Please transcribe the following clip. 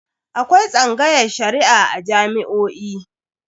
Akwai tsangayar Shari'a a jami'o'i.